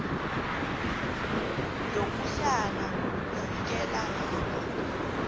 yokutlhala kufikela lapha